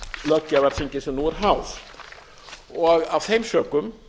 löggjafarþingi sem nú er háð af þeim sökum